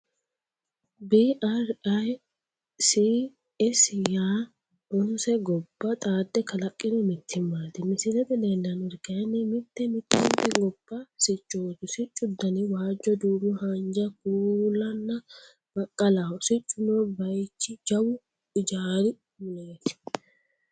BRICS yaa 9 gobba xaadde kalaqqino mittimmaati. Misilete leellannori kayinni mitte mittente gobba siccooti. siccu dani waajjo, duumo, haanja, kuulanna baqqalaho. Siccu noo baychi jawu ijaari muleeti.